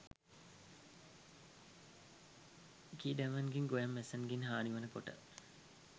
කීඩැවන්ගෙන් ගොයම් මැස්සන්ගෙන් හානි වන කොට